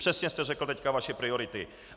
Přesně jste teď řekl vaše priority.